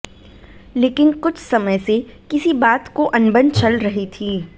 लेकिन कुछ समय से किसी बात को अनबन चल रही थी